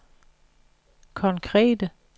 konkrete